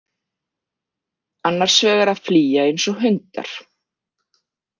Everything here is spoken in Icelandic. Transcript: Annars vegar að flýja eins og hundar.